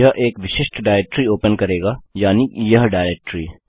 यह एक विशिष्ट डाइरेक्टरी ओपन करेगी यानि यह डाइरेक्टरी